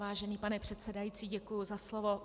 Vážený pane předsedající, děkuji za slovo.